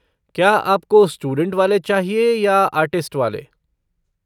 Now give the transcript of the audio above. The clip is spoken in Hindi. क्या आपको स्टूडेंट वाले चाहिए या आर्टिस्ट वाले?